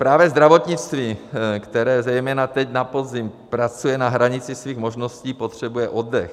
Právě zdravotnictví, které zejména teď na podzim pracuje na hranici svých možností, potřebuje oddech.